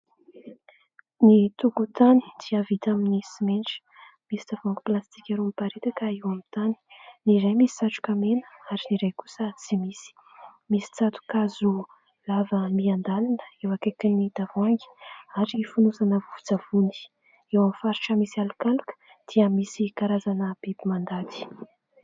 Ny tokotany dia vita amin'ny simenitra. Misy tavoahangy plastika roa miparitaka eo amin'ny tany, ny iray misy satroka mena ary ny iray kosa tsy misy. Misy tsato-kazo lava miandanina eo akaikin'ny tavoahangy ary fonosana vovo-tsavony. Eo amin'ny faritra misy alokaloka dia misy karazana biby mandady.